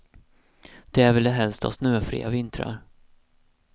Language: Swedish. Där vill de helst ha snöfria vintrar.